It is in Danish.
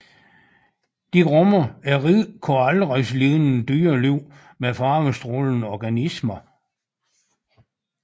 De rummer et rigt koralrevslignende dyreliv med farvestrålende organismer